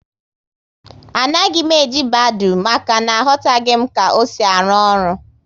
Anaghị m eji Badoo, maka na aghotaghi m ka ọ sị arụ ọrụ